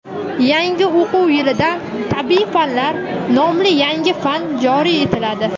Yangi o‘quv yilidan "Tabiiy fanlar" nomli yangi fan joriy etiladi.